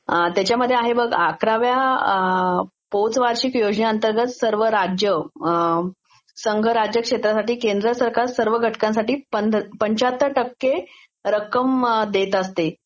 त्याच्यामध्ये आहे बघं, अकराव्या पोचवार्षिक योजनेअंतर्गत संघ राज्य क्षेत्रासाठी केंद्र सरकार सर्व घटकांसाठी पन्चाहत्तर टक्के रक्कम देत असते.